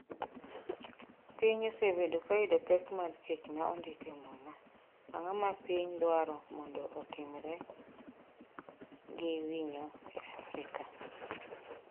Piny osebedo ka yudo pek mar ‘kech ma ondik e Muma’ Ang’o ma pinje dwaro mondo otimre gi winyo e Afrika?